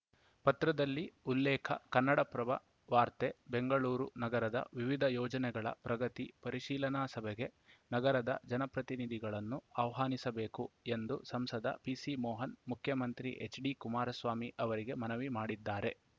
ಪತ್ರದಲ್ಲಿ ಉಲ್ಲೇಖ ಕನ್ನಡಪ್ರಭ ವಾರ್ತೆ ಬೆಂಗಳೂರು ನಗರದ ವಿವಿಧ ಯೋಜನೆಗಳ ಪ್ರಗತಿ ಪರಿಶೀಲನಾ ಸಭೆಗೆ ನಗರದ ಜನಪ್ರತಿನಿಧಿಗಳನ್ನು ಆಹ್ವಾನಿಸಬೇಕು ಎಂದು ಸಂಸದ ಪಿಸಿಮೋಹನ್‌ ಮುಖ್ಯಮಂತ್ರಿ ಎಚ್‌ಡಿಕುಮಾರಸ್ವಾಮಿ ಅವರಿಗೆ ಮನವಿ ಮಾಡಿದ್ದಾರೆ